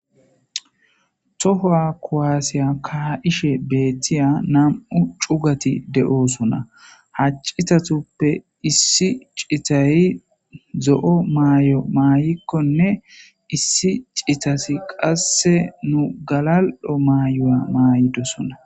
tohowa kowaasiya ka ishe beettiya nam7u cugati de7oosona haccitatuppe issi citayi zo7o maay7o maayikkonne issi citasi qasse nu galal7o maayoa maayidosona